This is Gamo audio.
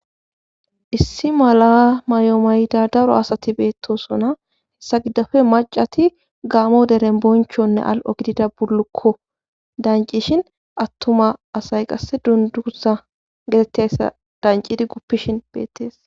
issi mala mayomayida daro asati beettosona hessa giddafe macati gaamo deren bonchonne al7o gidida bulukko dancishin attuma asay qasse dunduza getetteyssa dancidi guppishin beettees